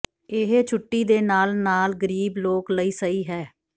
ਇਹ ਛੁੱਟੀ ਦੇ ਨਾਲ ਨਾਲ ਗ਼ਰੀਬ ਲੋਕ ਲਈ ਸਹੀ ਹੈ